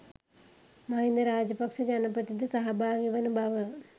මහින්ද රාජපක්ෂ ජනපති ද සහභාගී වන බව